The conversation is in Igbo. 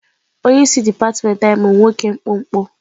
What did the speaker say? Onye isi dipatịmentị anyị bụ nwoke mkpụmkpụ.